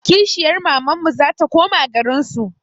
Kishiyar mamanmu zata koma garinsu